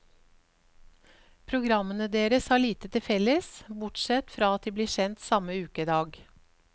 Programmene deres har lite til felles, bortsett fra at de blir sendt samme ukedag.